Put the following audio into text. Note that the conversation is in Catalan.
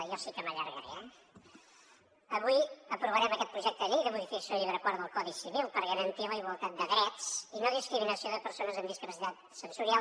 jo sí que m’allargaré eh avui aprovarem aquest projecte de llei de modificació del llibre quart del codi civil per garantir la igualtat de drets i no discriminació de persones amb discapacitat sensorial